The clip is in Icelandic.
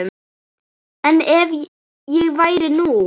En ef ég væri nú.